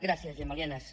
gràcies gemma lienas